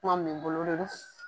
Kuma min bɛ bolo Lolis.